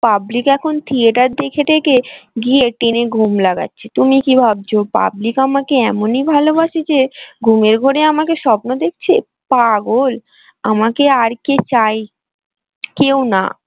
public এখন theatre দেখে টেকে গিয়ে টেনে ঘুম লাগাচ্ছে তুমি কি ভাবছো public আমাকে এমনই ভালোবাসে যে ঘুমের ঘোরে আমাকে স্বপ্ন দেখছে পাগল আমাকে আর কে চায় কেউ না।